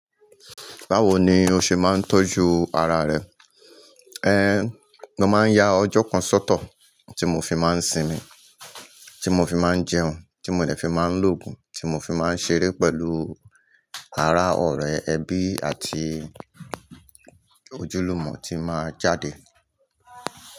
Báwo ni o ṣe máa ń tọ́jú ara rẹ? Ehn, mo máa ń ya ọjọ́ kan sọ́tọ̀ tí mo fi máa ń sinmi, tí mo fi máa ń jẹun, tí mo lẹ̀ fi máa ń lògùn, tí mo fi máa ń ṣeré pẹ̀lú ara ọ̀rẹ́, ẹbí àti ojúlùmọ̀ tí máa jáde.